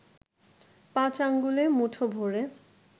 পাঁচ আঙ্গুলে মুঠো ভ’রে